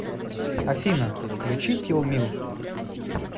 афина включи тилмил